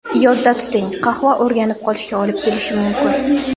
Yodda tuting, qahva o‘rganib qolishga olib kelishi mumkin.